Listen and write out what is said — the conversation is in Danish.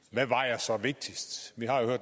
jeg